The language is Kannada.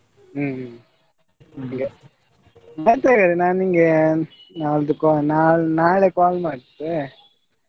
ಹ್ಮ್ ಹಂಗೆ ಮತ್ತೆ ನಾನ್ ನಿಂಗೆ ಒಂದು ನಾಳ್ದು ನಾ~ ನಾಳೆ call ಮಾಡ್ತೆ.